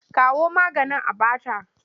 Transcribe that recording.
Kawo maganin a ba ta!